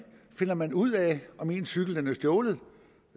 finder man ud af om ens cykel er stjålet